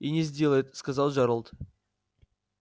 и не сделает сказал джералд